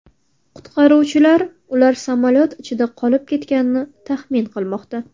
Qutqaruvchilar ular samolyot ichida qolib ketganini taxmin qilmoqda.